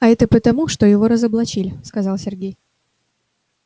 а это потому что его разоблачили сказал сергей